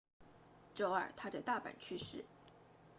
周二他在大阪去世